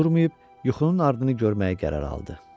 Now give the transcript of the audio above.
Durmayıb yuxunun ardını görməyə qərar aldı.